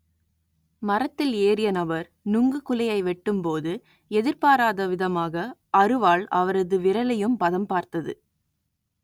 மரத்தில் ஏறிய நபர் நுங்கு குலையை வெட்டும் போது எதிர்பாராத விதமாக அருவாள் அவரது விரலையும் பதம் பார்த்தது